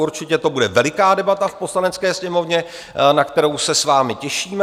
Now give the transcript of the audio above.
Určitě to bude veliká debata v Poslanecké sněmovně, na kterou se s vámi těšíme.